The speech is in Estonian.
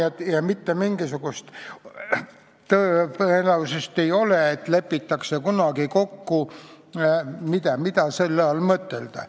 Ja ei ole mitte mingisugust tõenäosust, et lepitakse kunagi kokku, mida selle all tuleb mõtelda.